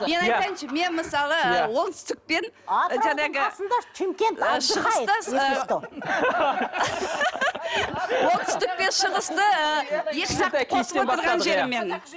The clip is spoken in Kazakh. мен айтайыншы мен мысалы ы оңтүстік пен жаңағы шығысты оңтүстік пен шығысты ы екіжақты қосып отырған жерім менің